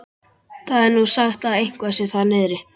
Það er nú sagt að eitthvað sé þar niðri.